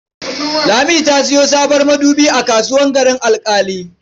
Lami ta sayo sabon madubi a kasuwar Garin Alƙali.